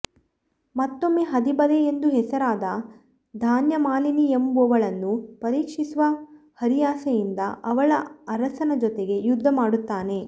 ಮತ್ತೊಮ್ಮೆ ಹದಿಬದೆಯೆಂದು ಹೆಸರಾದ ಧಾನ್ಯಮಾಲಿನಿಯೆಂಬುವಳನ್ನು ಪರೀಕ್ಷಿಸುವ ಹರಿಯಾಸೆಯಿಂದ ಅವಳ ಅರಸನ ಜೊತೆಗೆ ಯುದ್ಧ ಮಾಡುತ್ತಾನೆ